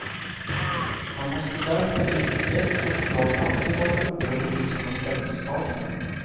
Han måste därför vid ett uppdrag alltid vara oberoende i sina ställningstaganden.